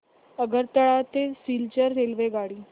आगरतळा ते सिलचर रेल्वेगाडी